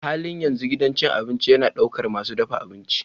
A halin yanzu gidan cin abinci yana ɗaukar masu dafa abinci.